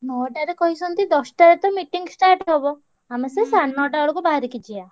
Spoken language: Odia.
ନଅଟାରେ କହିଛନ୍ତି ଦଶ ଟାରେ ତ meeting start ହବ। ଆମେ ସେଇ ସାଢେ ନଅଟା ବେଳକୁ ବାହାରିକି ଯିବା।